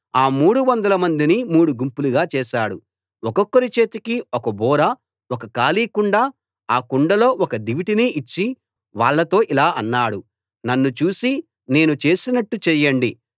ఆ మూడు వందలమందిని మూడు గుంపులుగా చేశాడు ఒక్కొక్కరి చేతికి ఒక బూర ఒక ఖాళీ కుండ ఆ కుండలో ఒక దివిటీని ఇచ్చి వాళ్లతో ఇలా అన్నాడు నన్ను చూసి నేను చేసినట్టు చేయండి